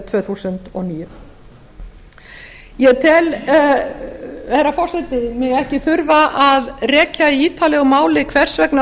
tvö þúsund og níu ég tel herra forseti mig ekki þurfa að rekja í ítarlegu máli hvers vegna